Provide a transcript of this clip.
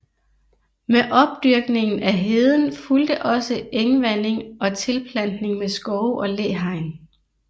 Med opdyrkningen af heden fulgte også engvanding og tilplantning med skove og læhegn